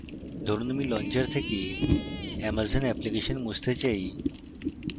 ধরুন আমি launcher থেকে amazon অ্যাপ্লিকেশন মুছতে say